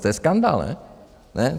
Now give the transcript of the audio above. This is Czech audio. To je skandál, ne?